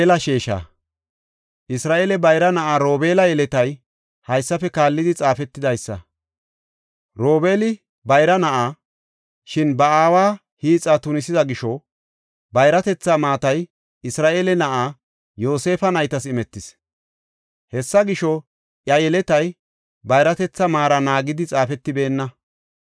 Isra7eele bayra na7aa Robeela yeletay haysafe kaallidi xaafetidaysa. Robeeli bayra na7a; shin ba aawa hiixa tunisida gisho, bayratetha maatay Isra7eele na7aa Yoosefa naytas imetis. Hessa gisho, iya yeletay bayratetha maara naagidi xaafetibeenna.